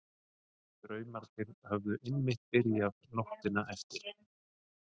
Draumarnir höfðu einmitt byrjað nóttina eftir.